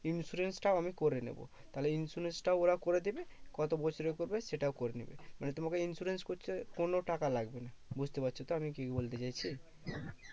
Insurance টাও আমি করে নেবো। তাহলে insurance টাও ওরা করে দেবে কত বছরের করবে সেটাও করে নেবে। মানে তোমাকে insurance করছে কোনো টাকা লাগবে না। বুঝতে পারছো তো আমি কি বলতে চাইছি?